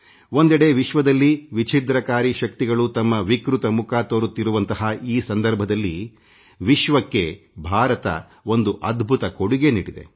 ಒಂದೆಡೆ ವಿಶ್ವದಲ್ಲಿ ವಿಛಿದ್ರಕಾರಿ ಶಕ್ತಿಗಳು ತಮ್ಮ ವಿಕೃತ ಮುಖ ತೋರುತ್ತಿರುವಂಥ ಈ ಸಮಯದಲ್ಲಿ ವಿಶ್ವಕ್ಕೆ ಭಾರತ ಒಂದು ಅದ್ಭುತ ಕೊಡುಗೆ ನೀಡಿದೆ